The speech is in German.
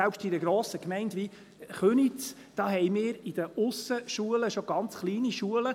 Selbst in einer grossen Gemeinde wie Köniz haben wir in den Aussenschulen schon ganz kleine Schulen.